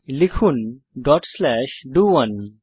লিখুন dot slash ডো1